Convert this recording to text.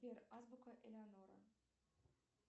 сбер азбука элеонора